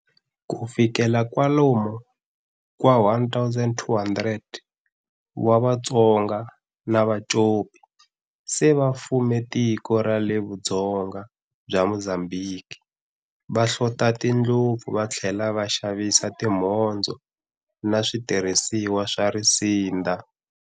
Ku fikela kwalamo ka 1200 wa Vatonga na Vacopi se a va fume tiko ra le Vudzonga bya Mozambique, va hlota tindlopfu va tlhela va xavisa timhondzo na switirhisiwa swa risinda.